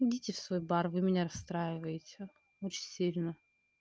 идите в свой бар вы меня расстраиваете очень сильно